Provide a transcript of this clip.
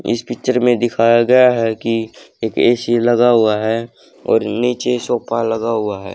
इस पिक्चर में दिखाया गया है कि एक ए_सी लगा हुआ है और नीचे सोफा लगा हुआ है।